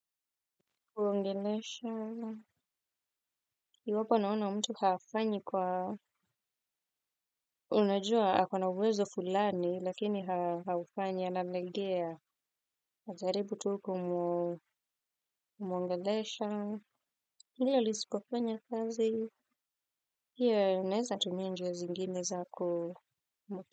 Uongelesha, iwapo naona mtu hafanyi kwa, unajua ako na uwezo fulani, lakini haufanyi, analegea, najaribu tuku muongelesha, hili lisikofanya kazi, pia unaeza tumia njia zingine za kumutu.